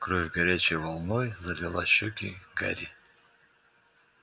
кровь горячей волной залила щеки гарри